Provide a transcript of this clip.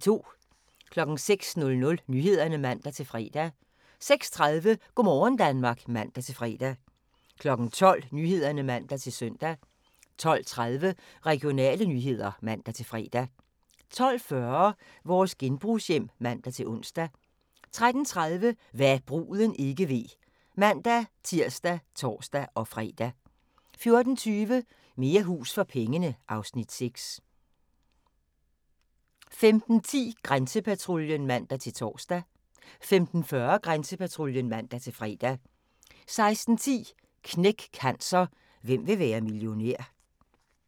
06:00: Nyhederne (man-fre) 06:30: Go' morgen Danmark (man-fre) 12:00: Nyhederne (man-søn) 12:30: Regionale nyheder (man-fre) 12:40: Vores genbrugshjem (man-ons) 13:30: Hva' bruden ikke ved (man-tir og tor-fre) 14:20: Mere hus for pengene (Afs. 6) 15:10: Grænsepatruljen (man-tor) 15:40: Grænsepatruljen (man-fre) 16:10: Knæk Cancer: Hvem vil være millionær?